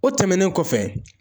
O tɛmɛnen kɔfɛ.